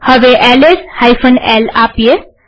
હવે LS l આપીએ